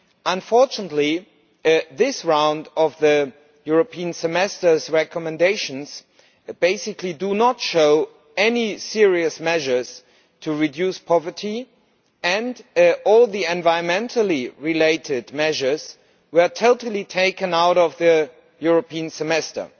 Unfortunately, this round of the European Semester's recommendations basically do not show any serious measures to reduce poverty, and all the environment related measures were totally taken out of the European Semester.